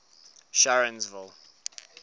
sharonsville